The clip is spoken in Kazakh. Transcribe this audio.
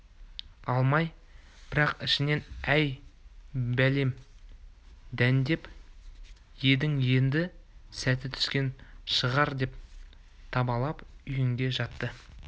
алмай бірақ ішінен әй бәлем дәндеп едің енді сәті түскен шығар деп табалап үйінде жатты